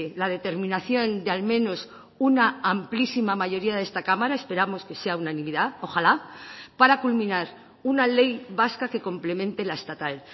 la determinación de al menos una amplísima mayoría de esta cámara esperamos que sea unanimidad ojalá para culminar una ley vasca que complemente la estatal